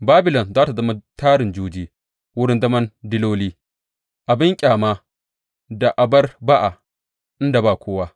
Babilon za tă zama tarin juji, wurin zaman diloli, abin ƙyama da abar ba’a, inda ba kowa.